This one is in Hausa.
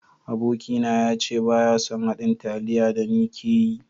Aboki na ya ce baya son haɗin taliya da ni ke yi.